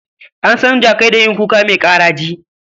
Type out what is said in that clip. An san jakai da yin kuka mai ƙaraji